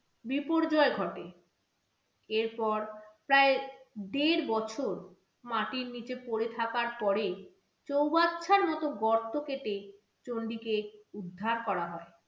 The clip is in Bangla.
বিপর্যয় ঘটে এরপর প্রায় দেড় বছর মাটির নিচে পড়ে থাকার পরে চৌবাচ্চার মত গর্ত কেটে চন্ডিকে উদ্ধার করা হয়।